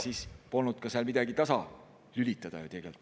… siis polnud seal midagi ka tasalülitada ju.